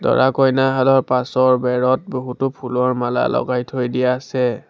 দৰা-কইনাহালৰ পাছৰ বেৰত বহুতো ফুলৰ মালা লগাই থৈ দিয়া আছে।